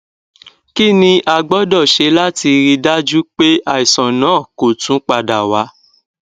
kini a gbọdọ ṣe lati rii daju pe aisan naa ko tun pada wa